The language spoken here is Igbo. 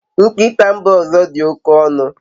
Nkịta mba ọzọ dị oke ọnụ